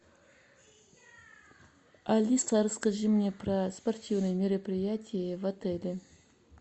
алиса расскажи мне про спортивные мероприятия в отеле